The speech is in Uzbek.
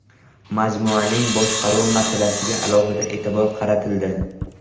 Majmuaning boshqaruv masalasiga alohida e’tibor qaratildi.